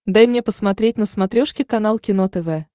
дай мне посмотреть на смотрешке канал кино тв